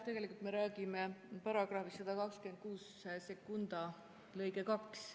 Tegelikult me räägime § 1262 lõikest 2.